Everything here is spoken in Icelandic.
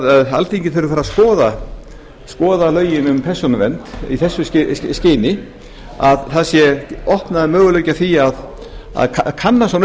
alþingi þurfi að fara að skoða lögin um persónuvernd í þessu skyni að það sé opnaður möguleiki á því að kanna svona